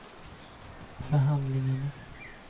förhandlingarna